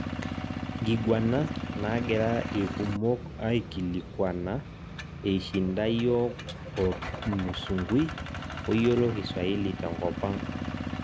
nkigwana nagira irkumok aikilikuana eishinda yiok otmusungui oyiolo kiswahili tenkopang'